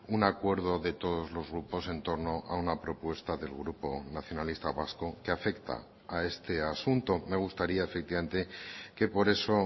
un acuerdo de todos los grupos en torno a una propuesta del grupo nacionalista vasco que afecta a este asunto me gustaría efectivamente que por eso